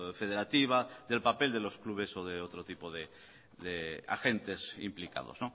federativa del papel de los clubes o de otro tipo de agentes implicados